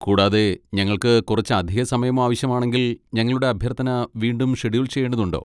കൂടാതെ, ഞങ്ങൾക്ക് കുറച്ച് അധിക സമയം ആവശ്യമാണെങ്കിൽ, ഞങ്ങളുടെ അഭ്യർത്ഥന വീണ്ടും ഷെഡ്യൂൾ ചെയ്യേണ്ടതുണ്ടോ?